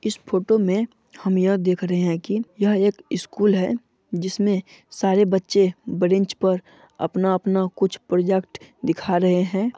इस फोटो मे हम यह देख रहे है कि यह एक स्कूल है जिसमे सारे बच्चे ब्रेंच पर अपना-अपना कुछ प्रोजेक्ट दिखा रहे है।